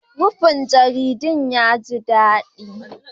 Rufin jaridun ya ji daɗi